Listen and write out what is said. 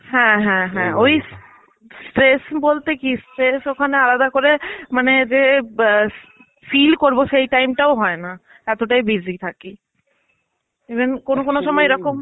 হ্যাঁ হ্যাঁ হ্যাঁ ওই stress বলতে কি stress ওখানে আলাদা করে মানে রেব বা feel করবো সেই time টাও হয়না. এতটাই busy থাকি.even কোনো কোনো সময়ে এরকম